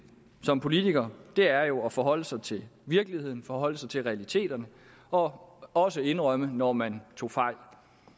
som politiker er jo at forholde sig til virkeligheden at forholde sig til realiteterne og også indrømme når man tog fejl